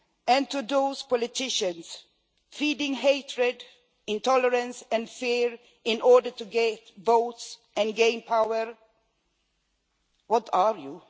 And to those politicians feeding hatred, intolerance and fear in order to get votes and gain power what are you?